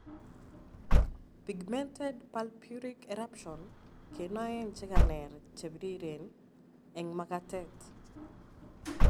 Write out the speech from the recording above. Pigmented purpuric eruption kenoen chekaneer chebriren eng' makatet